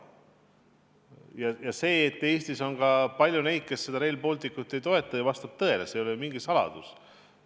Ja tean ka seda, et Eestis on palju neid, kes Rail Balticut ei toeta – see vastab tõele, see ei ole mingi saladus.